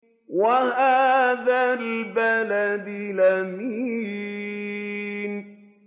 وَهَٰذَا الْبَلَدِ الْأَمِينِ